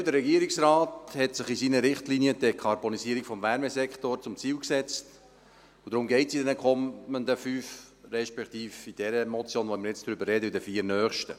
Generell setzte sich der Regierungsrat in seinen Richtlinien die Dekarbonisierung des Wärmesektors zum Ziel, und darum geht es in den fünf Motionen, respektive in dieser Motion, über die wir jetzt reden, sowie in den vier nächsten.